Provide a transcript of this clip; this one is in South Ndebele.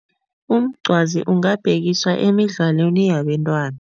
Umncwazi ungabhekiswa emidlalweni yabentwana.